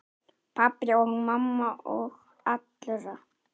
Pabba og mömmu og allra.